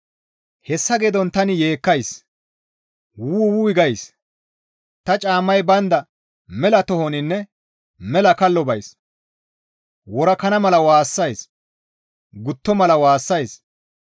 Hessa geedon tani yeekkays, wuu! Wuy gays; ta caammay baynda mela tohoninne mela kallo bays; worakana mala waassays; gutto mala waassays.